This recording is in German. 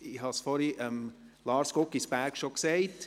Ich habe es vorhin Lars Guggisberg bereits gesagt: